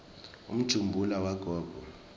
umjumbula wagogo